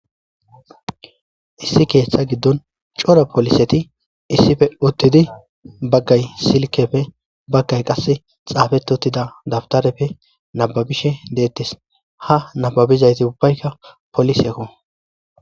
Issi keeththa giddon cora poliseti issife uttidi baggay silkepfe baggay qasse xaafet uttida dabtareppe nababishe deettis ha nababizayti ubbaykka polisekko